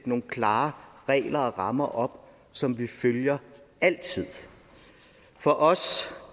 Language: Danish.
nogle klare regler og rammer som vi følger altid for os